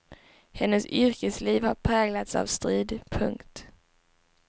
Hennes yrkesliv har präglats av strid. punkt